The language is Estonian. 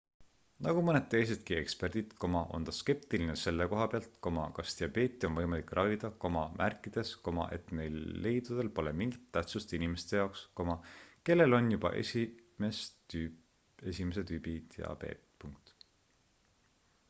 nagu mõned teisedki eksperdid on ta skeptiline selle koha pealt kas diabeeti on võimalik ravida märkides et neil leidudel pole mingit tähtsust inimeste jaoks kellel on juba 1 tüübi diabeet